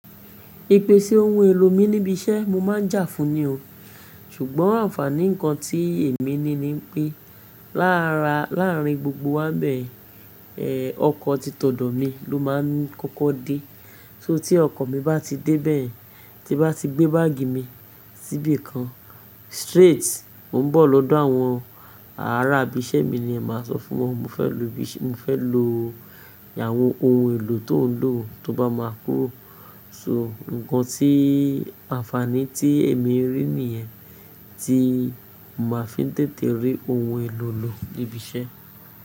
Ipe ṣe ohun èlò mi níbi iṣẹ́ mo má ń jà fún ni o. Ṣùgbọ́n àǹfààní nǹkan tí èmi ní ni pé láàárín gbogbo wá bẹ́ẹ̀, ẹ, ọkọ̀ títọ̀dọ̀ mi ló máa ń kọ́kọ́ dé. Só tí ọkọ mi bá ti dé bẹ́ẹ̀ yen, tí bá ti gbé báàgì mi síbìkan, straight, mo ń bọ̀ lọ́dọ̀ àwọn ará ibi iṣẹ́ mi ni màá sọ fún wọn mo fẹ lo àwọn ohun èlò tó ń lò tó bá máa kúrò. So nǹkan tí àǹfààní tí èmi rí nìyẹn tí mo máa fi ń tètè rí ohun èlò lò níbi iṣẹ́.